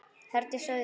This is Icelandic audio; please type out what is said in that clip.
Herdís og Auður.